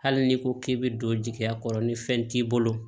Hali n'i ko k'i bɛ don jigiya kɔrɔ ni fɛn t'i bolo